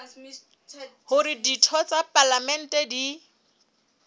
hore ditho tsa palamente di